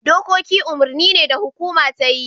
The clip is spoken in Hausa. Dokoki umurni ne da hukuma ta yi.